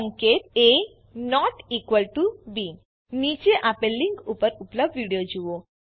સંકેત એ બી નીચે આપેલ લીંક ઉપર ઉપલબ્ધ વિડીઓ જુઓ